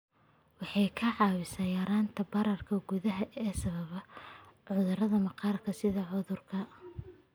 Waxay kaa caawinaysaa yaraynta bararka gudaha ee sababa cudurrada maqaarka sida cudurka